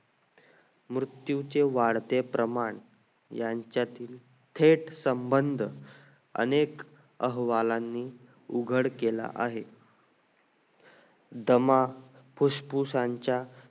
मृत्यू चे वाढते प्रमाण यांच्यातील थेट संबंध अनेक अहवालांनी उघड केला आहे दमा फूस फुसांचा